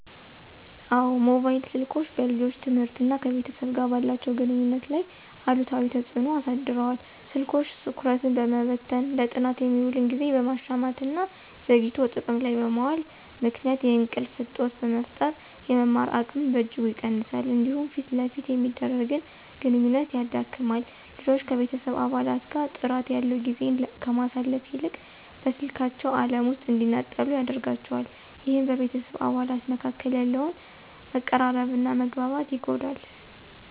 አዎ፣ ሞባይል ስልኮች በልጆች ትምህርትና ከቤተሰብ ጋር ባላቸው ግንኙነት ላይ አሉታዊ ተጽዕኖ አሳድረዋል። ስልኮች ትኩረትን በመበተን፣ ለጥናት የሚውልን ጊዜ በመሻማትና ዘግይቶ ጥቅም ላይ በመዋሉ ምክንያት የእንቅልፍ እጦት በመፍጠር የመማር አቅምን በእጅጉ ይቀንሳሉ። እንዲሁም ፊት ለፊት የሚደረግን ግንኙነት ያዳክማል። ልጆች ከቤተሰብ አባላት ጋር ጥራት ያለው ጊዜን ከማሳለፍ ይልቅ በስልካቸው ዓለም ውስጥ እንዲነጠሉ ያደርጋቸዋል። ይህም በቤተሰብ አባላት መካከል ያለውን መቀራረብና መግባባት ይጎዳል።